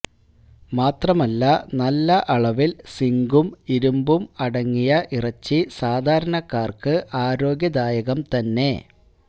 മാത്രമല്ല നല്ല അളവിൽ സിങ്കും ഇരുന്പും അടങ്ങിയ ഇറച്ചി സാധാരണക്കാർക്ക് ആരോഗ്യദായകം തന്നെ